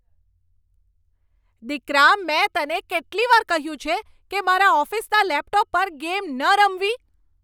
દીકરા, મેં તને કેટલી વાર કહ્યું છે કે મારા ઓફિસના લેપટોપ પર ગેમ ન રમવી?